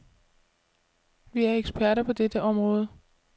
Vi er eksperter på dette område.